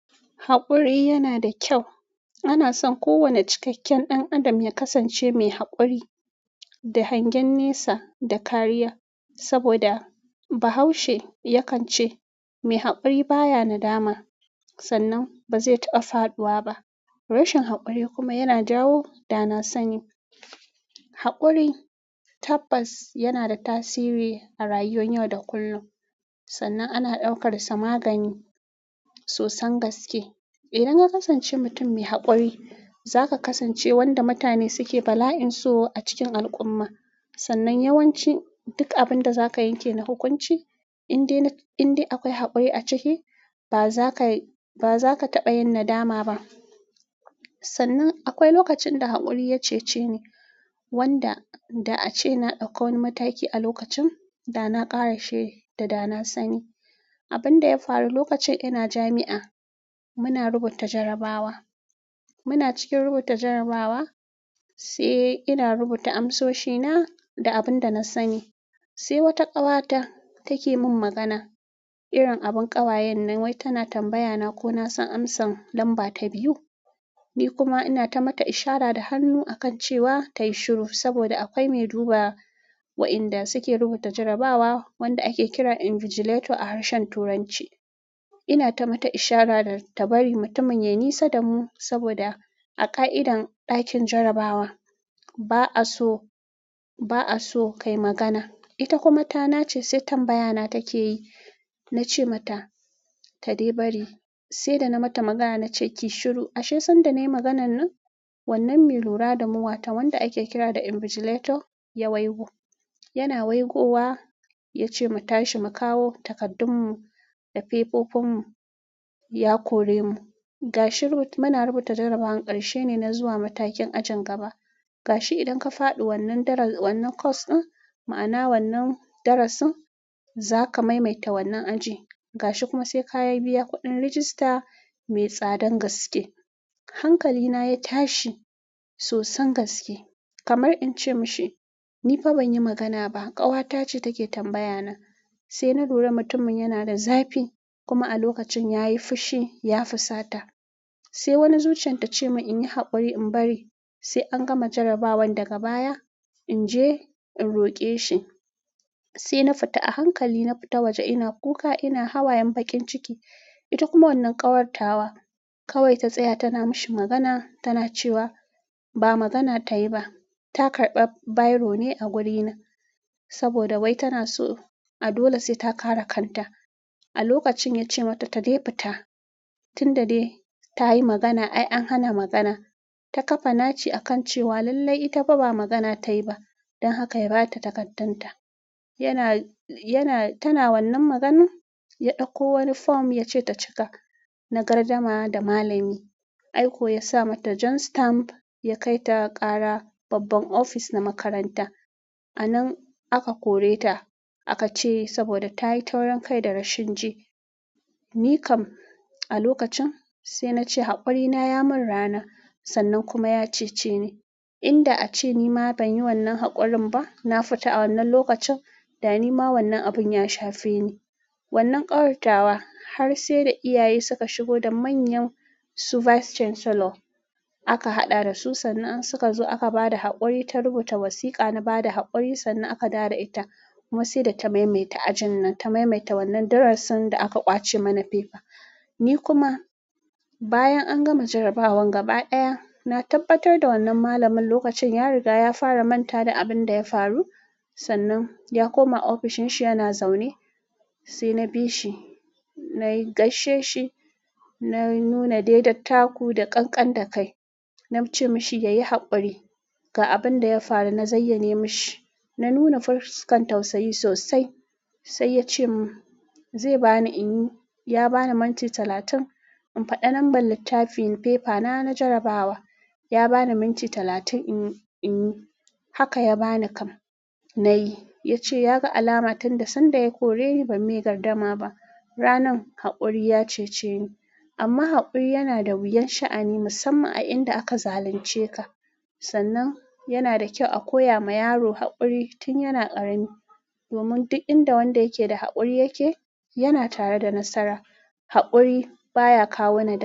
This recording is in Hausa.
Haƙuri yana da kyau. Ana son kowane cikakken ɗan adam ya kasance mai haƙuri, da hangen nesa da kariya, saboda Bahaushe yakan ce "mai haƙuri baya nadama", sannan ba zai taɓa faɗuwa ba. Rashin haƙuri kuma yana jawo da na sani. Haƙuri tabbas yana da tasiri a rayuwan yau da kullum, sannan ana ɗaukar sa magani sosan gaske. Idan ka kasance mutum mai haƙuri, za ka kasance wanda mutane suke bala'in so a cikin al'umma. Sannan yawanci duk abin da za ka yanke na hukunci, in dai akwai haƙuri a ciki, ba za ka taɓa yin nadama ba. Sannan akwai lokacin da haƙuri ya cece ni, wanda da a ce na ɗauko wani mataki a lokacin da na ƙarashe da na sani. Abin da ya faru lokacin ina jami'a, muna rubuta jarrabawa. Muna cikin rubuta jarrabawa, sai ina rubuta amsoshina da abin da na sani, sai wata ƙawata take min magana. Irin abin ƙawayen nan, wai tana tambaya na ko na san amsan lamba ta biyu. Ni kuma ina ta mata ishara da hannu a kan cewa ta yi shiru, saboda akwai mai duba wa'inda suke rubuta jarrabawa wanda ake kira invigilator a harshen Turanci. Ina ta mata ishara da ta bari mutumin ya nisa da mu, saboda a ka'idar ɗakin jarrabawa, ba'a so ka yi magana. Ita kuma ta na ce sai tambaya na take yi. Na ce mata ta dai bari, sai da na mata magana na ce kiyi shiru. Ashe sanda nayi maganan nan, wannan mai lura da mu, wata wanda ake kira da invigilato ya waigo. Yana waigowa ya ce mu tashi mu kawo takardunmu da fefofinmu, ya kore mu. Gashi muna rubuta jarrabawan ƙarshe ne na zuwa matakin ajin gaba. Gashi idan ka faɗi wannan course din, ma'ana wannan darasin, za ka maimaita wannan aji. Gashi kuma sai ka yi biya kuɗin rajista mai tsadan gaske. Hankalina ya tashi sosan gaske, kamar in ce mashi ni fa ban yi magana ba, ƙawata ce take tambaya na. Sai na lura mutumin yana da zafi kuma a lokacin yayi fushi, ya fusata. Sai wani zuciyan ta ce mun in yi haƙuri in bari sai an gama jarrabawan daga baya, in je in roƙe shi. Sai na fita a hankali, na fita waje ina kuka ina hawayen baƙin ciki. Ita kuma wannan ƙawartawa kawai ta tsaya tana mashi magana tana cewa ba magana ta yi ba. Ta karɓa biro ne a wurina, saboda wai tana so. A dole sai ta ƙara kanta. A lokacin ya ce mata ta dai fita tun da dai ta yi magana, ai an hana magana. Ta ƙafa naci a kan cewa lallai ita ba magana ta yi ba, don haka ya ba ta takardarta. Yana, tana wannan maganan ya ɗauko wani form yace ta cika na gardama da malami. Ai ko ya sa mata jan stamp ya kai ta ƙara babban ofis na makaranta. A nan aka kore ta aka ce saboda ta yi taurin kai da rashin ji. Nikam a lokacin sai na ce haƙuri na ya mun rana sannan kuma ceceni. Inda a ce ni ma ban yi wannan haƙurin ba. Na fita a wannan lokacin da ni ma wannan abun ya shafe ni. Wannan ƙawartawa har sai da iyaye suka shigo da manyan vice chancellor aka haɗa da su, sannan suka zo aka ba da haƙuri ta rubuta wasiƙa na bada haƙuri sannan aka dawo da ita. Kuma sai da ta maimaita ajin nan, ta maimaita wannan darasin da aka ƙwace mana fefa. Ni kuma bayan an gama jarrabawan gaba ɗaya, na tabbatar da wannan malamin lokacin ya riga ya fara manta da abin da ya faru. Sannan ya koma ofishin shi yana zaune. Sai na bi shi, na gaishe shi, na nuna dai dattaku da ƙanƙan da kai. Na ce mushi ya yi haƙuri ga abin da ya faru, na zayyane mashi, na nuna fuskun tausayi sosai. Sai yace mun zai bani inyi. Ya bani minti talatin in faɗa lamba littafi fefa na na jarrabaww. Ya bani minti talatin in yi. Haka ya bani kam, na yi. Ya ce ya ga alama tun da sanda ya kore ni ban mai gardama ba. Ranan haƙuri ya cece ni. Amma haƙuri yana da wuyan sha'ani musamman a inda aka zalunce ka. Sannan yana da kyau a koya ma yaro haƙuri tun yana ƙarami. Domin duk inda wanda yake da haƙuri yake, yana tare da nasara. Haƙuri baya kawo ni da.